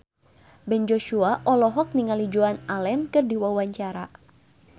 Ben Joshua olohok ningali Joan Allen keur diwawancara